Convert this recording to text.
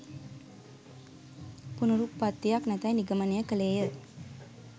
පුනරුප්පත්තියක් නැතැයි නිගමනය කළේ ය